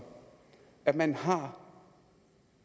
at man har